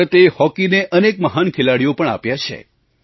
ભારતે હૉકીને અનેક મહાન ખેલાડીઓ પણ આપ્યા છે